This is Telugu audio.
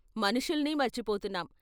మనుషుల్నీ మర్చిపోతున్నాం.